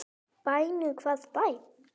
Bænum, hvaða bæ?